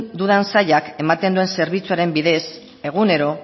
dudan sailak ematen duen zerbitzuaren bidez egunero